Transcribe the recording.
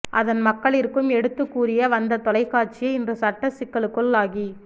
அதன் மக்களிற்கும் எடுத்து கூறிய வந்த தொலை காட்சியே இன்று சட்ட சிக்கலுக்குள்ளாகி